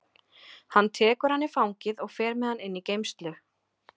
Hann tekur hann í fangið og fer með hann inn í geymslu.